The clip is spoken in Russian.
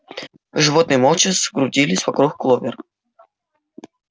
животные молча скрутились вокруг кловер